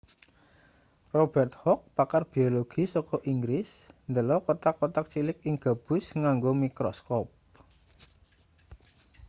robert hooke pakar biologi saka inggris ndelok kothak-kothak cilik ing gabus nganggo mikroskop